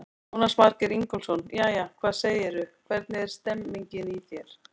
Jónas Margeir Ingólfsson: Jæja, hvað segirðu, hvernig er stemmingin í þér?